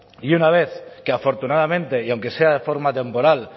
y una vez que afortunadamente y aunque sea de forma temporal